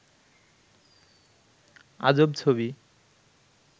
আজব ছবি